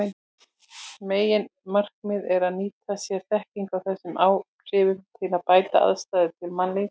Meginmarkmiðið er að nýta sér þekkinguna á þessum áhrifum til að bæta aðstæður til mannlífs.